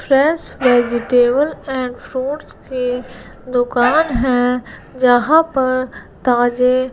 fresh vegetable and fruits के दुकान है जहां पर ताजे--